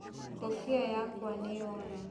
Ngũbia yakwa nĩyora.